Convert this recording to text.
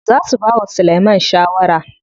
Za su bawa Sulaiman shawara.